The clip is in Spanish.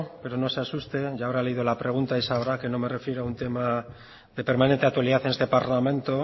pero no se asuste ya habrá leído la pregunta y sabrá que no me refiero a un tema de permanente actualidad en este parlamento